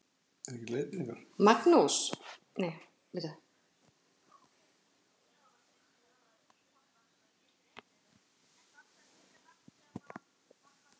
Magnús: Er ekki gaman þegar gengur svona vel?